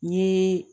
N ye